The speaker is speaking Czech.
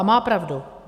A má pravdu.